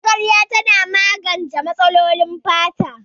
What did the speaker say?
Magarya tana da magance matsalolin fata